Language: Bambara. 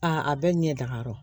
Aa a bɛɛ ɲɛ da yɔrɔ